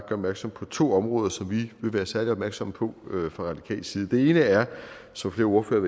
opmærksom på to områder som vi vil være særlig opmærksomme på fra radikal side det ene er som flere ordførere